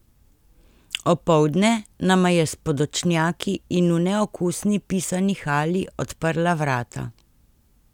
Opoldne nama je s podočnjaki in v neokusni pisani halji odprla vrata.